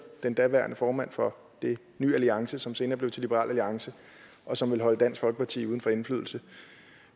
den daværende formand for ny alliance som senere blev til liberal alliance og som ville holde dansk folkeparti uden for indflydelse